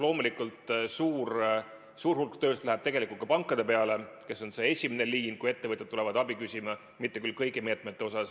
Loomulikult, suur hulk tööst läheb tegelikult ka pankadele, kes on see esimene liin, kui ettevõtjad tulevad abi küsima, mitte küll kõigi meetmete puhul.